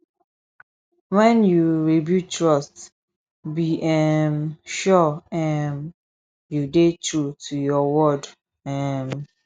wen yu rebuild trust be um sure um yu dey true to yur word um